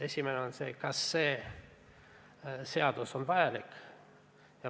Esimene küsimus: kas see seadus on vajalik?